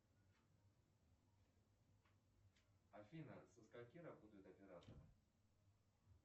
афина со скольки работает оператор